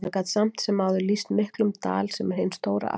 Hann gat samt sem áður lýst miklum dal, sem er hin stóra Askja.